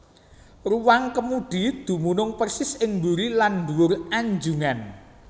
Ruwang kemudi dumunung persis ing buri lan ndhuwur anjungan